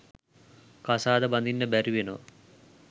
කසාද බඳින්න බැරිවෙනවා.